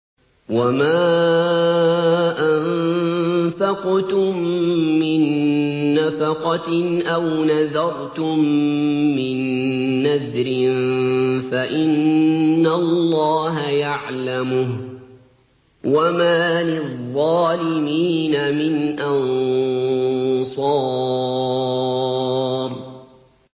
وَمَا أَنفَقْتُم مِّن نَّفَقَةٍ أَوْ نَذَرْتُم مِّن نَّذْرٍ فَإِنَّ اللَّهَ يَعْلَمُهُ ۗ وَمَا لِلظَّالِمِينَ مِنْ أَنصَارٍ